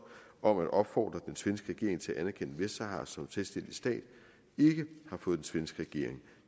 om at opfordre den svenske regering til at anerkende vestsahara som selvstændig stat ikke har fået den svenske regering